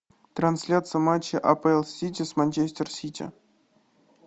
трансляция матча апл сити с манчестер сити